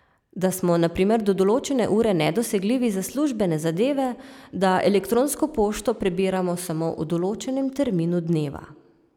Da smo na primer do določene ure nedosegljivi za službene zadeve, da elektronsko pošto prebiramo samo v določenem terminu dneva.